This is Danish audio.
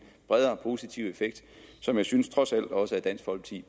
bredere positiv effekt som jeg synes trods alt også